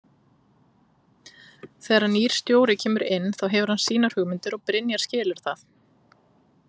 Þegar að nýr stjóri kemur inn þá hefur hann sínar hugmyndir og Brynjar skilur það.